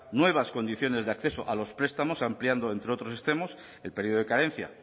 nuevas condiciones de acceso a los prestamos ampliando entre otros extremos el periodo de carencia